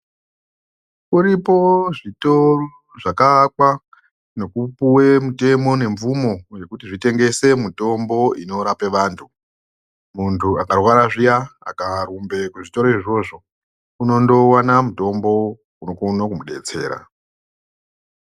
Kuripo zvitoro zvakaakwa nekupuwe mutemo nemvumo yekuti zvitengese mutombo ino rapa vantu. Muntu akarwara zviya akaa rumbe kuzvitoro izvozvo, unondo wana mutombo unokone kumubetsera.